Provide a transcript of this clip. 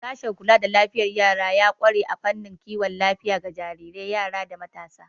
Sashen kula da lafiyar yara ya ƙware a fannin kiwon lafiya ga jarirai, yara, da matasa.